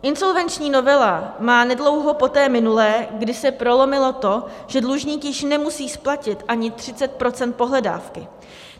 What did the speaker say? Insolvenční novela má nedlouho po té minulé, kdy se prolomilo to, že dlužník již nemusí splatit ani 30 % pohledávky.